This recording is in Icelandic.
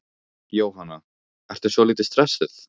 Jóhanna: Ertu svolítið stressuð?